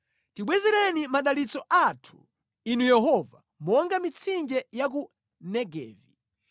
Tibwezereni madalitso athu, Inu Yehova, monga mitsinje ya ku Negevi.